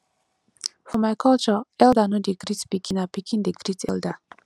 for my culture elda no dey greet pikin na pikin dey great elda